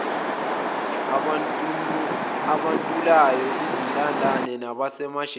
abantulayo izintandane nabasemajele